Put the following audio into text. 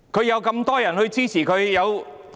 有這麼多議員支持她。